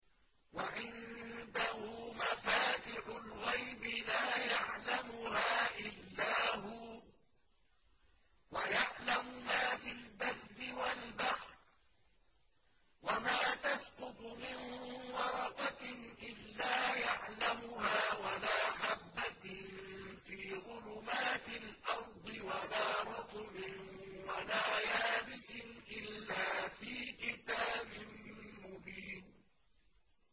۞ وَعِندَهُ مَفَاتِحُ الْغَيْبِ لَا يَعْلَمُهَا إِلَّا هُوَ ۚ وَيَعْلَمُ مَا فِي الْبَرِّ وَالْبَحْرِ ۚ وَمَا تَسْقُطُ مِن وَرَقَةٍ إِلَّا يَعْلَمُهَا وَلَا حَبَّةٍ فِي ظُلُمَاتِ الْأَرْضِ وَلَا رَطْبٍ وَلَا يَابِسٍ إِلَّا فِي كِتَابٍ مُّبِينٍ